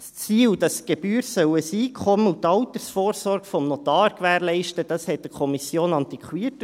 Das Ziel, dass die Gebühr das Einkommen und die Altersvorsorge des Notars gewährleisten soll, erschien der Kommission antiquiert.